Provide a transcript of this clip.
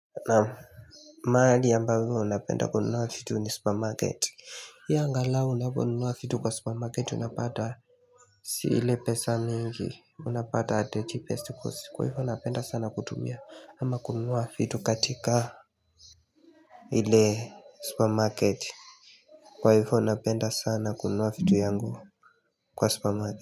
Naam nani ambazo unapenda kununua shituni supermarket Hii angalao unaponunua vitu kwa supermarket unapata sii ile pesa mingi, unapata hataji pesa kwa hivyo napenda sana kutumia ama kununua vitu katika ile supermarket Kwa hivyo unapenda sana kununua vitu yangu kwa supermarket.